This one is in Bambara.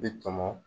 Bi tɔmɔ